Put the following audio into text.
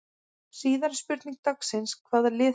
Síðari spurning dagsins: Hvaða lið falla?